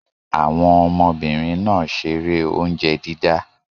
Àwọn ọmọbìnrin náà ṣeré oúnjẹ dídá.